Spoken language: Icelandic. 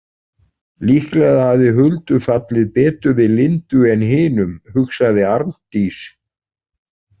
Líklega hafði Huldu fallið betur við Lindu en hinum, hugsaði Arndís.